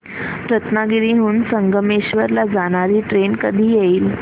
रत्नागिरी हून संगमेश्वर ला जाणारी ट्रेन कधी येईल